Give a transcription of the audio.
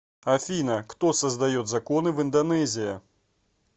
афина кто создает законы в индонезия